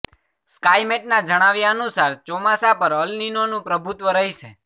સ્કાયમેટના જણાવ્યા અનુસાર ચોમાસા પર અલ નિનોનું પ્રભુત્વ રહેશે